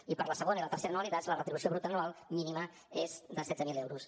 i per a la segona i la tercera anualitats la retribució bruta anual mínima és de setze mil euros